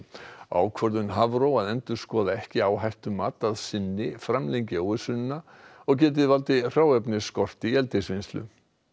ákvörðun Hafró að endurskoða ekki áhættumat að sinni framlengi óvissuna og geti valdið hráefnisskorti í eldisvinnslu